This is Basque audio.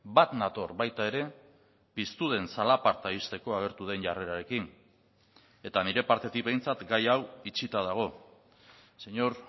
bat nator baita ere piztu den zalaparta ixteko agertu den jarrerarekin eta nire partetik behintzat gai hau itxita dago señor